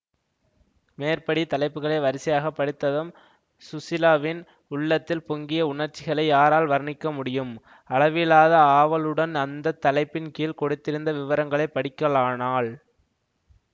மேற்படி தலைப்புகளை வரிசையாகப் படித்ததும் ஸுசீலாவின் உள்ளத்தில் பொங்கிய உணர்ச்சிகளை யாரால் வர்ணிக்க முடியும் அளவிலாத ஆவலுடன் அந்த தலைப்பின் கீழ் கொடுத்திருந்த விவரங்களை படிக்கலானாள்